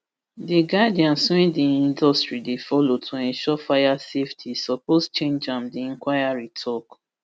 di guidance wey di industry dey follow to ensure fire safety suppose change am di inquiry tok